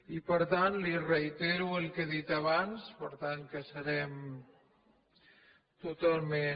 i per tant li reitero el que he dit abans per tant que serem totalment